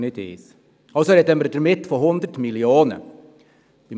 Somit sprechen wir von 100 Mio. Franken.